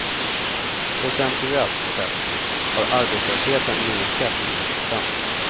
Procentuellt sett har arbetslösheten minskat med en procent.